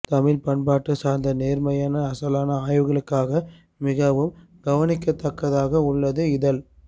தமிழ் பண்பாடுசார்ந்த நேர்மையான அசலான ஆய்வுகளுக்காக மிகவும் கவனிக்கத்தக்கதாக உள்ளது இதழ்